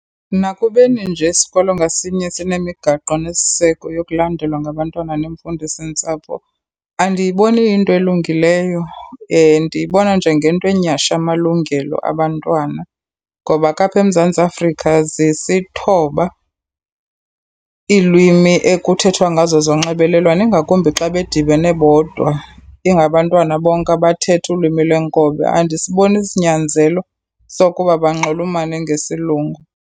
Nakubeni nje isikolo ngasinye sinemigaqo nesiseko yokulandelwa ngabantwana neemfundisintsapho, andiyiboni iyinto elungileyo. Ndiyibona njengento enyhasha amalungelo abantwana, ngoba ke apha eMzantsi Afrika zisithoba iilwimi ekuthethwa ngazo zonxibelelwano. Ingakumbi xa bedibene bodwa, ingabantwana bonke abathetha ulwimi lwenkobe andisiboni isinyanzelo sokuba banxulumane ngesilungu.